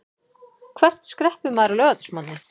Hvert skreppur maður á laugardagsmorgni?